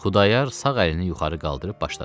Xudayar sağ əlini yuxarı qaldırıb başladı: